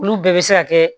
Olu bɛɛ bɛ se ka kɛ